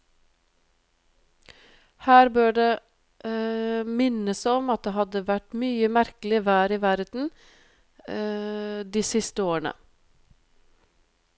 Her bør det minnes om at det hadde vært mye merkelig vær i verden de siste årene.